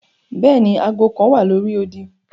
Bẹẹni, aago kan wa lori odi.